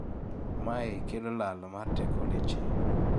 mae kelo lal mar teko leche